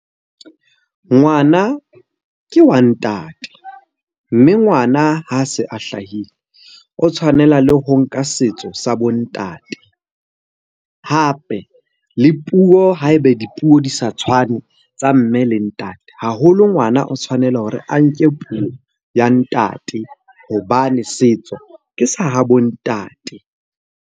Ngwana ke wa ntate, mme ngwana ha se a hlahile o tshwanela le ho nka setso sa bo ntate. Hape le puo ha ebe dipuo di sa tshwane tsa mme le ntate, haholo ngwana o tshwanela hore a nke puo ya ntate hobane setso ke sa habo ntate.